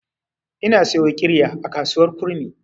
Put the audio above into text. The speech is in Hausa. Ina siyo ƙirya a kasuwar kurmi.